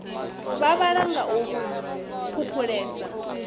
vha vhala nga u phuphuledza